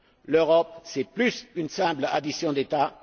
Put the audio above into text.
L'Europe c'est plus qu'une simple addition d'États.